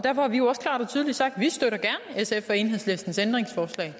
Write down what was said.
tydeligt sagt at vi støtter sf og enhedslistens ændringsforslag